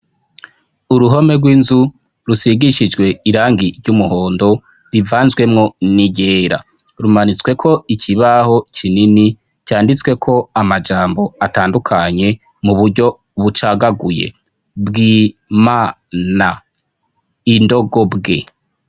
Uruhome rw'inzu rusigishijwe irangi ry'umuhondo rivanzwemwo n'iryera, rumanitsweko ikibaho kinini canditsweko amajambo atandukanye mu buryo bucagaguye: bwi-ma-na, indogobwe.